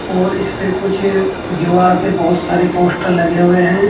और इसपे कुछ दीवार पे बहोत सारे पोस्टर लगे हुए है।